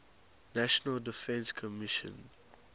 national defense commission